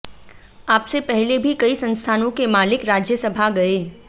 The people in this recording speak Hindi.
आपसे पहले भी कई संस्थानों के मालिक राज्य सभा गए